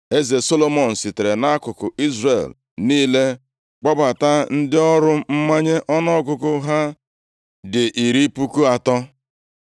Eze Solomọn, sitere nʼakụkụ Izrel niile kpọbata ndị ọrụ mmanye ọnụọgụgụ ha dị iri puku atọ.